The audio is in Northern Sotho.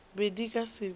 be di ka se be